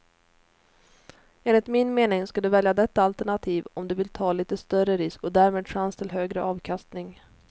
Enligt min mening ska du välja detta alternativ om du vill ta lite större risk och därmed chans till högre avkastning.